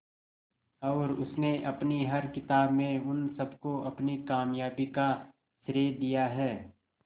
और उसने अपनी हर किताब में उन सबको अपनी कामयाबी का श्रेय दिया है